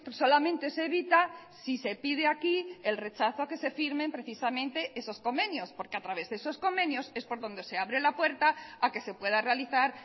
solamente se evita si se pide aquí el rechazo a que se firmen precisamente esos convenios porque a través de esos convenios es por donde se abre la puerta a que se pueda realizar